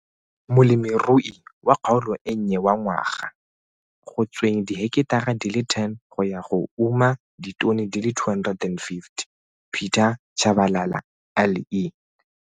Molemirui wa Kgaolo e Nnye wa Ngwaga go tsweng diheketara di le 10 go ya go uma ditone di le 250, Pieter Chabalala le.